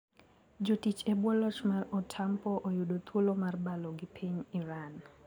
Jotich e buo loch mar Otampo oyudo thuolo mar balo gi piny Iran.